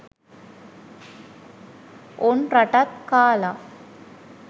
උන් රටත් කාලා